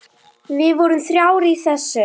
Við vorum þrjár í þessu.